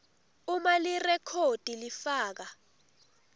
uma lirekhodi lifaka